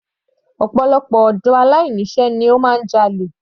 Ọ̀pọ̀lọpọ̀ ọ̀dọ́ aláìní iṣẹ́ máa ń jalè.